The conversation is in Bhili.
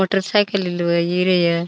Motor cycle Riya.